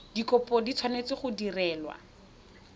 dikopo di tshwanetse go direlwa